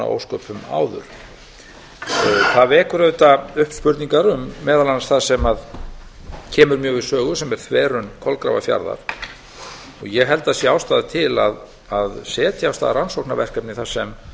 ósköpum áður það vekur auðvitað upp spurningar um meðal annars það sem kemur mjög við sögu sem er þverun kolgrafafjarðar og ég held að það sé ástæða til að setja af stað rannsóknarverkefni þar sem